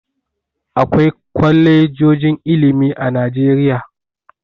Akwai kwalejojin ilimi a Najeriya.